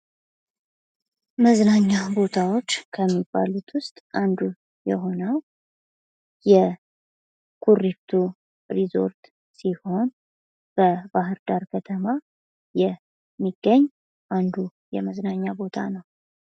መዝናኛ ቦታዎች ከሚባሉት ውስጥ አንዱ የሆነው የኩሪፍቱ ሪዞርት ሲሆን በባህር ዳር የሚገኝ አንዱ የመዝናኛ ቦታ ነው ።